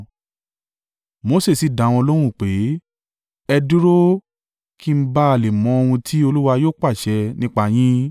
Mose sì dá wọn lóhùn pé, “Ẹ dúró kí n ba lè mọ ohun tí Olúwa yóò pàṣẹ nípa yín.”